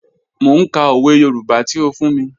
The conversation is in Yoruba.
Mọ̀ n kà ọwẹ̀ Yorùbá tí ó fún mí.